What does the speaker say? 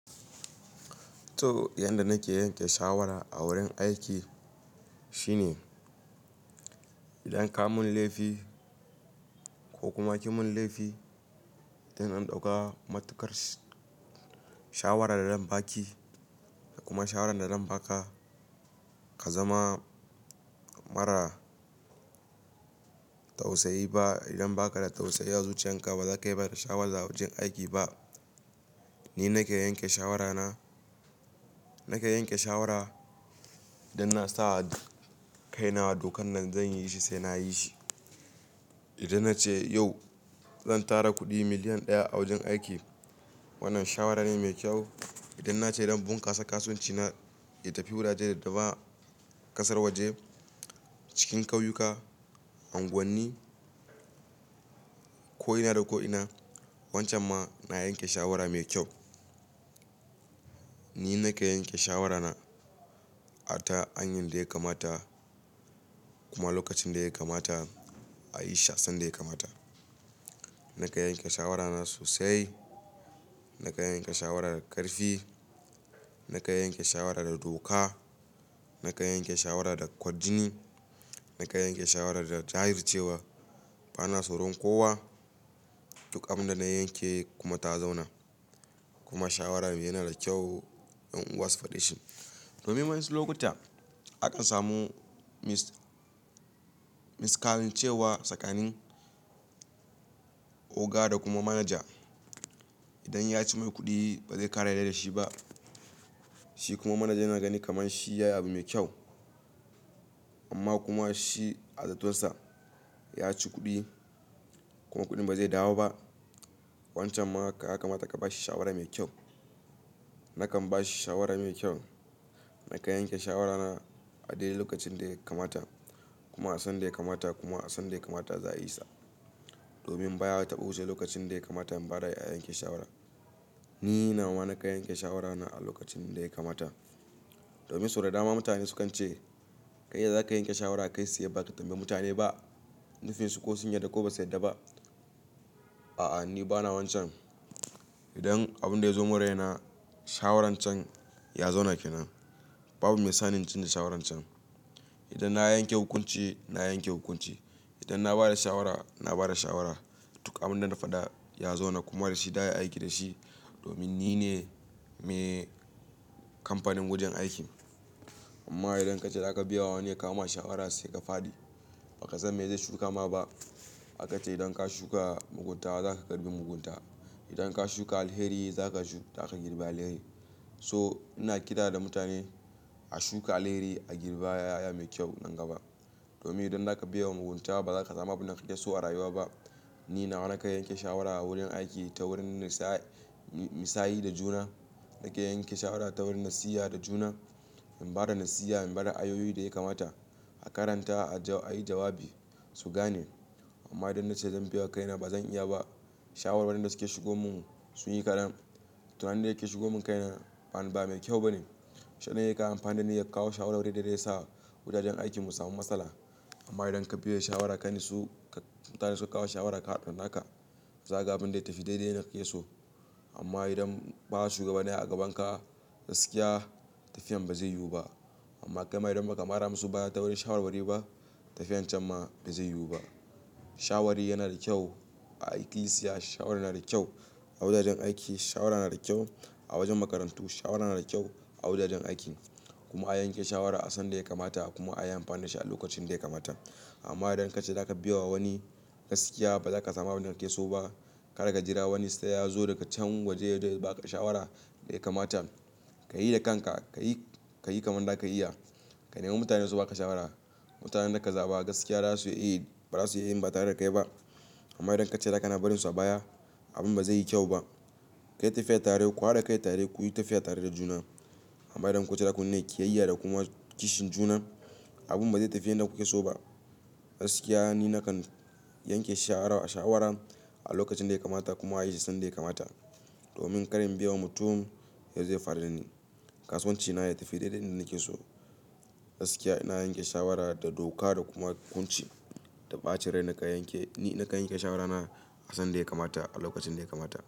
To, yanda nake yanke shawara a wurin aiki shine idan ka mun laifi ko kuma ki mun laifi, idan in ɗauka matukar shawara da zan baki da kuma shawaran da zan baka, ka zama mara tausayi ba. Idan baka da tausayi a zuciyarka ba, za ka yi bada shawara a wajen aiki ba. Ni nake yanke shawara na, nake yanke shawara idan na saba da kai na dokan nan zan yi shi sai na yi shi. Idan na ce yau zan tara kuɗi miliyan ɗaya a wajen aiki, wannan shawara ne mai kyau. Idan na ce idan in bunkasa kasuwanci na ya tafi wurare da ba ƙasar waje cikin ƙauyuka, unguwanni ko ina da ko ina, wancan ma na yanke shawara mai kyau. Ni nake yanke shawara na a ta hanyar da ya kamata kuma lokacin da ya kamata a yi shi'a san da ya kamata. Nake yanke shawara na sosai. Nakan yanke shawara da ƙarfi. Nake yanke shawara da doka. Naka yanke shawara da kwajini. Nakan yanke shawara da jajircewa. Bana tsoron kowa. Dukkan abin da na yanke kuma ta zauna kuma shawara me yana da kyau yan'uwa su fada shi. Domin wasu lokuta akan samu mis-miskarin cewa a tsakanin oga da kuma manaja idan ya ci mai kuɗi ba zai ƙara yarda da shi ba. Shi kuma manajan yana ganin kaman shi yayi abu mai kyau amma kuma shi a zaton sa ya ci kuɗi kuma kuɗin ba zai dawo ba. Wancan ma haka yaka mata ka ba shi shawara mai kyau. Nakan ba shi shawara mai kyau. Nakan yanke shawara na a dai lokacin da ya kamata kuma a san da ya kamata kuma a san da ya kamata za a yi sa. Domin baya taɓa wuce lokacin da ya kamata in ba da a yanke shawara. Ni na wa nakan yanke shawara na a lokacin da ya kamata. Domin sau da dama mutane sukan ce kai zaka yanke shawara akai tsaye ba ka tambayi mutane ba. Nufinsu ko sun yarda ko ba su yarda ba. A'a, ni bana wancan. Idan abin da ya zo muraina, shawarar can ya zauna kenan. Babu mai sani in canza shawarar can. Idan na yanke hukunci, na yanke hukunci. Idan na ba da shawara, na ba da shawara. Dukkan abin da na faɗa ya zauna kuma da shi, da ya aiki da shi. Domin nine me kamfanin wajen aikin. Amma idan kace za ka biya wa wani ya kawo ma shawara sai ka fadi, ba ka san me zai shuka ma ba. Hakace idan ka shuka mugunta, za ka girbe mugunta. Idan ka shuka alheri, zaka shuka, zaka girbe alheri. So, ina ƙira da mutane a shuka alheri a girbe yaya mai kyau nan gaba. Domin idan zaka biya wa mugunta ba za ka samu abin da kake so a rayuwa ba. Ni na wa nakan yanke shawara a wurin aiki ta wurin nisayi, nisayi da juna. Nake yanke shawara ta wurin nasiha da juna. In ba da nasiha, in ba da ayyuka da ya kamata, a karanta a yi jawabi su gane. Amma idan na ce zan biya wa kai na ba zan iya ba, shawarar waɗanda suke shigo mun suyi karen. To wanda yake shigo mun kai na ba, ba mai kyau bane. Shanayi ka amfani da ni ya kawo shawara dai-dai da yasa wuraren aiki mun samu matsala. Amma idan ka biya da shawara ka nitsu, mutane suka kawo shawara ka hada da naka. Za ga abin da ya tafi dai-dai na ke so. Amma idan ba shugabanni a gaban ka gaskiya, tafiyan ba zai yiwu ba. Amma kai ma idan baka mara musu baya ta wurin shawarwari ba, tafiyan can ma ba zai yiwu ba. Shawari yana da kyau a ikilisiya. Shawara yana da kyau a wuraren aiki. Shawara yana da kyau a wajen makarantu. Shawara yana da kyau a wajajen aiki kuma a yanke shawara a sanda ya kamata kuma a yi amfani da shi a lokacin da ya kamata. Amma idan kace za ka biye wa wani gaskiya ba za ka samu abin da kake so ba, kada ka jira wani sai ya zo daga can waje yazo ya baka shawara da ya kamata. Ka yi da kanka, ka yi, ka yi kamar za ka iya. Ka nemi mutane su baka shawara. Mutanen da ka zaba gaskiya za su iya yi, ba za su iya in ba tare da kai ba. Amma idan kace za ka na barin su a baya, abin ba zai yi kyau ba. Kai tafiya tare, ku haɗa kai tare, ku yi tafiya tare da juna. Amma idan kun ce za ku nuna ƙiyayya da kuma kishin juna, abun ba zai tafi yanda kuke so ba. Gaskiya ni na kan yanke shawara, shawaran a lokacin da ya kamata kuma a yi shi sanda ya kamata. Domin kar in biye wa mutum yazo ya faru da ni. Kasuwanci na ya tafi dai-dai yanda na ke so. Gaskiya ina yanke shawara da doka da kuma hukunci da ɓacin rai nakan yanke, ni nakan yanke shawara na a san da ya kamata a lokacin da ya kamata.